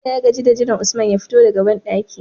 Bello ya gaji da jiran usman ya fito daka banɗaki